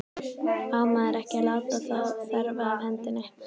Á maður ekki að láta þá þefa af hendinni?